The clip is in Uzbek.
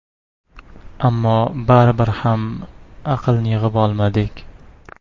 Ammo baribir ham aqlni yig‘ib olmadik.